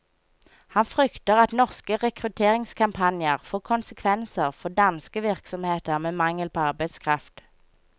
Han frykter at norske rekrutteringskampanjer får konsekvenser for danske virksomheter med mangel på arbeidskraft.